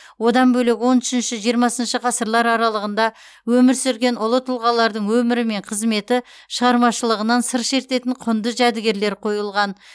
одан бөлек он үшінші жиырмасыншы ғасырлар аралығында өмір сүрген ұлы тұлғалардың өмірі мен қызметі шығармашылығынан сыр шертетін құнды жәдігерлер қойылған